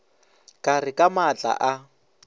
ka re ka matla a